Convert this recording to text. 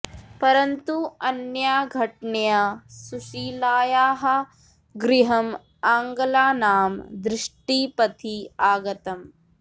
परन्तु अनया घटनया सुशीलायाः गृहम् आङ्ग्लानां दृष्टिपथि आगतम्